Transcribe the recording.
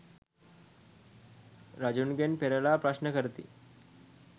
රජුගෙන් පෙරළා ප්‍රශ්න කරති.